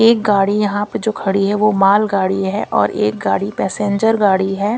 एक गाड़ी यहां पे जो खड़ी है वो माल गाड़ी है और एक गाड़ी पैसेंजर गाड़ी है।